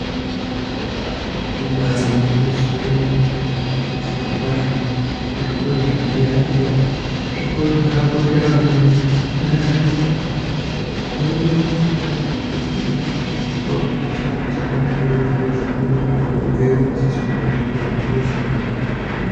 Ibari gwinyiso yemene zviro kwazvo kuzvikora zvekudera dera zvikora zvakakosha maningi ngenyaya yekuti unotonase kukwira wozoone kuti chikora chakanakire kuzvi kuzvina kuti unotobveyo wadzidziswa kuti kubasa kunoshandwa ne.